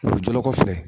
O jɔlen kɔfɛ